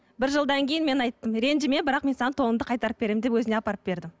бір жылдан кейін мен айттым ренжіме бірақ мен саған тоныңды қайтарып беремін деп өзіне апарып бердім